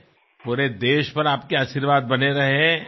యావత్ దేశానికీ మీ ఆశీర్వాదం కావాలి